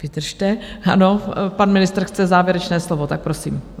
Vydržte, ano, pan ministr chce závěrečné slovo, tak prosím.